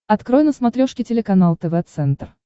открой на смотрешке телеканал тв центр